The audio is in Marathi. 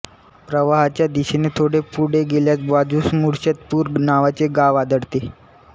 प्रवाहाच्या दिशेने थोडे पुढे गेल्यास बाजूस मुर्शतपूर नावाचे गाव आढळते